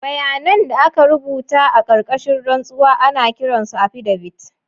Bayanan da aka rubuta a ƙarƙashin rantsuwa ana kiran su affidavits.